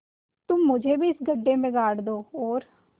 तुम मुझे भी इस गड्ढे में गाड़ दो और